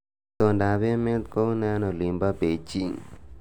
Itondoab emet koune eng olinbo Beijing